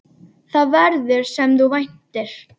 Það verður, sem þú væntir.